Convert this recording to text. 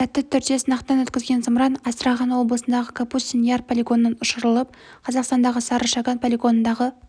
сәтті түрде сынақтан өткізген зымыран астрахан облысындағы капустин яр полигонынан ұшырылып қазақстандағы сары шаган полигонындағы